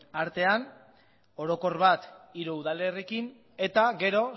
artean orokor bat hiru udalerriekin eta gero